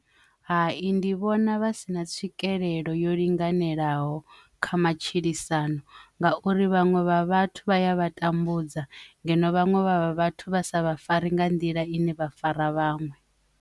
Hai, ndi vhona vha si na tswikelelo yo linganelaho kha matshilisano ngauri vhaṅwe vha vhathu vha ya vha tambudza ngeno vhaṅwe vha vhathu vha sa vha fare nga nḓila ine vha fara vhaṅwe.